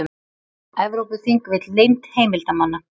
Evrópuþing vill leynd heimildamanna